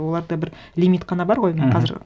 оларда бір лимит қана бар ғой мхм міне қазір